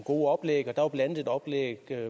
gode oplæg der var blandt andet et oplæg